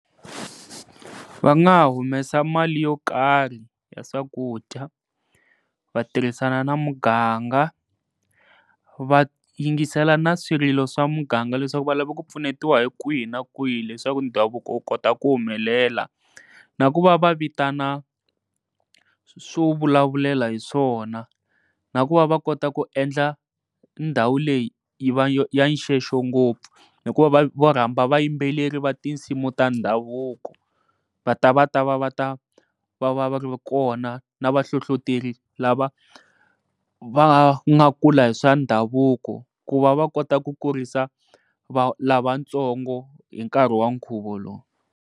Va nga humesa mali yo karhi ya swakudya, va tirhisana na muganga, va yingisela na swilo swa muganga leswaku va lava ku pfunetiwa hi kwihi na kwihi leswaku ndhavuko wu kota ku humelela. Na ku va va vitana swo vulavulela hi swona, na ku va va kota ku endla ndhawu leyi yi va ya xenxo ngopfu, hikuva va vo rhamba vayimbeleri va tinsimu ta ndhavuko va ta va ta va va ta va va va ri kona na vahlohloteli lava va nga kula hi swa ndhavuko ku va va kota ku kurisa lavatsongo hi nkarhi wa nkhuvo lowu.